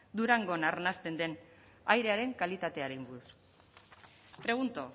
durangon arnasten den airearen kalitatearen inguruan pregunto